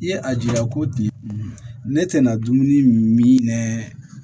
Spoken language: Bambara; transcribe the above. I ye a jira ko ti ne tɛna dumuni min mɛn